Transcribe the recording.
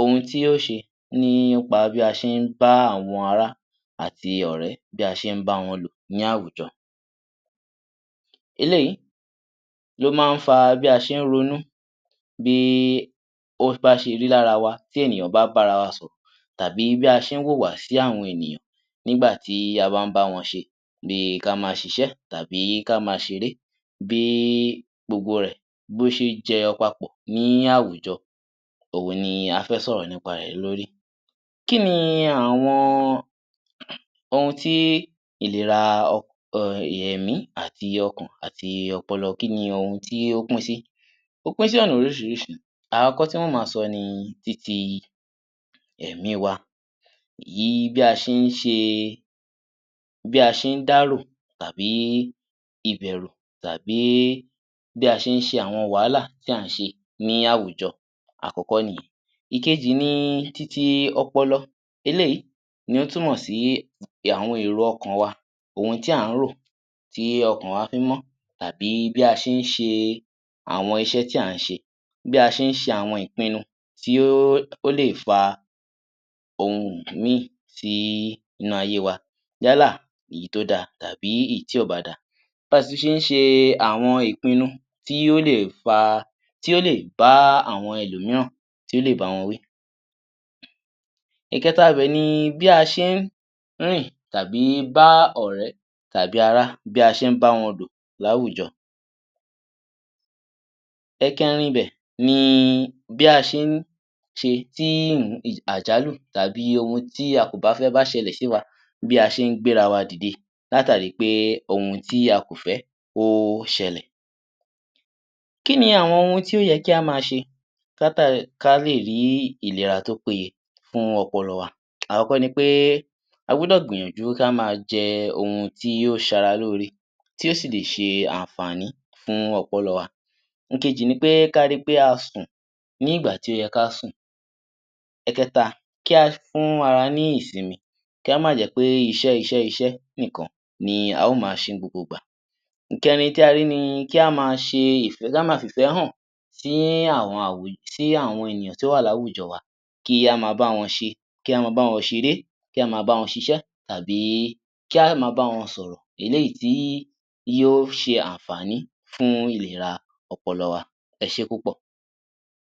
ohun tí ó ṣe nípa bí a ṣé ń bá àwọn ará àti ọ̀rẹ́ bí a ṣe ń báwọn lò ní àwùjọ. Eléyìí máa ń fa bí a ṣé ń ronú bí o bá ṣe rí lára wa ti ènìyàn bá bá ra wa sọ̀rọ̀ tàbí bí a ṣe ń wùwà sì àwọn ènìyàn nígbà tí a bá ń báwọn ṣe bíí kí a ma ṣíṣe tàbí kí a ma ṣeré bí gbogbo rẹ̀ bí ó ṣe jẹyọọ papọ̀ ní àwùjọ òhun ni a fẹ sọ̀rọ̀ nípa rẹ̀ lórí kíni àwọn ohun tí ìléra èmí àti ọkàn àti ọpọlọ kíni ohun tí ó pín sí. Ó pín sí ọ̀nà oríṣiríṣi àkọ́kọ́ tí ó ma sọ ni títí èmí wa yìí bí a ṣé ń ṣe bí a ṣe ń dárò tàbí ibẹ̀rù tàbí bí a ṣe ń ṣe wàhálà tí à ń ṣe ní àwùjọ àkọ́kọ́ nìyẹn ìkejì ni titi ọpọlọ eléyìí ó túmọ̀ sí àwọn èrò ọkàn wa ohun tí a ń rò tí ọkàn wa fi ń mọ́ tàbí bí a ṣe ń ṣe àwọn iṣẹ́ tí a ń ṣe bí a ṣe ń ṣe àwọn ìpínnu tí ó lè fa ohun míì ni ayé wa yálà èyí tó da tàbí èyí tí kò bá da bí a tún ṣe ń ṣe àwọn ìpínnu tí ó lè fa tí ó lè bá àwọn ẹlòmíràn tí ó lè báwọn wí ìkẹta ibè ni bí a ṣe ń rìn tàbí bá ọ̀rẹ́ àbí ará bí a ṣe ń báwọn lò ní àwùjọ ìkẹ́rin ibẹ̀ ni bí a ṣe ń ṣe tí àjálù tàbí ohun tí a kò bá fẹ́ bá ṣẹlẹ̀ sí wa bí a ṣe ń gbéra wa dìde látàrí pé ohun tí a kò bá fẹ́ kó ṣẹlẹ̀ kíni àwọn ohun tí ó yẹ kí a ma ṣe kí a lè ní ìlera tó péye fún ọpọlọ wá àkọ́kọ́ ni pé a gbọ́dọ̀ gbìyànjú kí a má jẹ ohun tí ó ṣe ara lóre tí ó sìlè ṣe àǹfààní fún ọpọlọ wa ìkejì ni pé ká rí pé a sùn nígbà tí ó yẹ ká sùn ẹ̀kẹ́ta kí a fún ara ní ìsínmi kó mà jẹ́ iṣẹ́ iṣẹ́ iṣẹ́ nìkan ni a ó ma ṣe ní gbogbo ìgbà ìkẹ́rin tí a rí ní kí a ma ṣe ki a ma fi ìfẹ́ hàn sí àwọn ènìyàn tí ó wà ní àwùjọ wa kí a ma báwọn ṣe kí a Má báwọn ṣeré kí a má báwọn ṣiṣẹ́ tàbí kí a má báwọn sọ̀rọ̀ eléyìí tí yóò ṣe àǹfààní fún ọpọlọ wa ẹ ṣé púpọ̀.